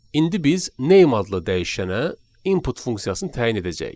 İndi biz name adlı dəyişənə input funksiyasını təyin edəcəyik.